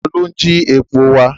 Ta ló ń jí epo wà?